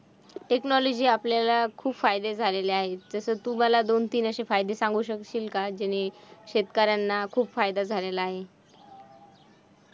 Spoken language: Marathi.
Technology आपल्याला खूप फायदे झालेले आहे, जसं तू मला दोन-तीन असे फायदे सांगू शकशील का? ज्यांनी शेतकऱ्यांना खूप फायदा झालेला आहे.